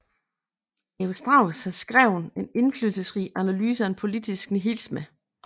Leo Strauss har skrevet en indflydelsesrig analyse af politisk nihilisme